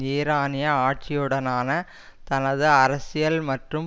ஈரானிய ஆட்சியுடனான தனது அரசியல் மற்றும்